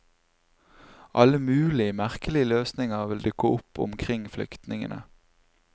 Alle mulig merkelige løsninger vil dukke opp omkring flyktningene.